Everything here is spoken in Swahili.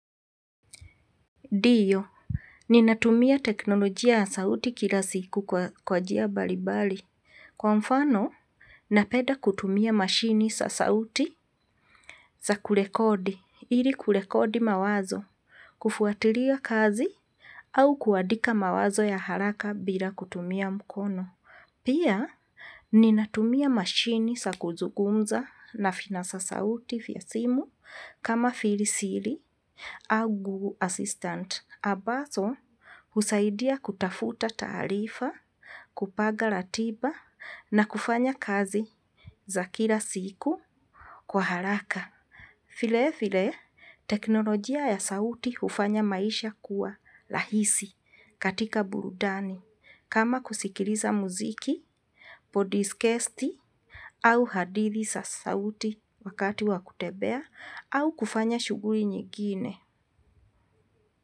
Ndiyo, ninatumia teknolojia ya sauti kila siku kwa kwa njia mbalimbali. Kwa mfano, na peda kutumia mashini za sauti, za kurekodi, ili kurekodi mawazo, kufuatilia kazi, au kuandika mawazo ya haraka bila kutumia mkono. Pia, ninatumia mashini za kuzungumza na vinasa sauti vya simu kama vile siri au google assistant. Ambazo, husaidia kutafuta taarifa, kupanga ratiba na kufanya kazi za kila siku kwa haraka. Vile vile, teknolojia ya sauti hufanya maisha kuwa rahisi katika burudani. Kama kusikiliza muziki, podikasti au hadithi za sauti wakati wa kutembea au kufanya shughuli nyingine.